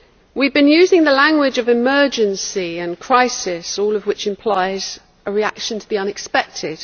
We have been using the language of emergency and crisis, all of which implies a reaction to the unexpected.